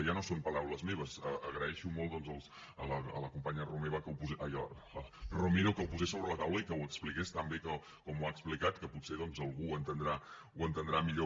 ja no són paraules meves agraeixo molt doncs a la companya romero que ho posés sobre la taula i que ho expliqués tan bé com ho ha explicat que potser algú ho entendrà millor